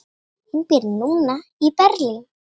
Hún býr núna í Berlín.